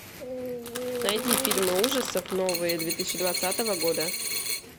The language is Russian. найди фильмы ужасов новые две тысячи двадцатого года